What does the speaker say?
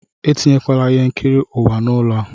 Etinyekwala ihe nkiri ụwa n'ụlọ a!